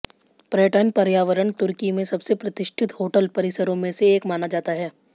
पर्यटन पर्यावरण तुर्की में सबसे प्रतिष्ठित होटल परिसरों में से एक माना जाता है